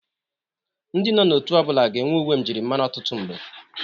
Ndị nọ n'otu ọ bụla ga-enwe uwe mjịrịmara ọtụtụ mgbe.